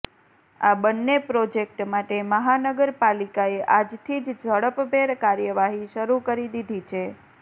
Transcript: આ બંને પ્રોજેક્ટ માટે મહાનગરપાલિકાએ આજથી જ ઝડપભેર કાર્યવાહી શરૂ કરી દીધી છે